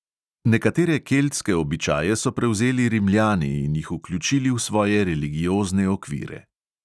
Nekatere keltske običaje so prevzeli rimljani in jih vključili v svoje religiozne okvire.